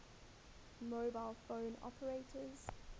mobile phone operators